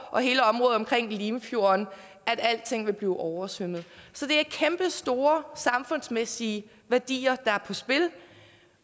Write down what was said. og hele området omkring limfjorden alting vil blive oversvømmet så det er kæmpestore samfundsmæssige værdier der er på spil